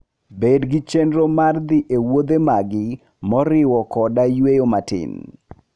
Bed gi chenro mar dhi e wuodhe magi moriwo koda yueyo matin.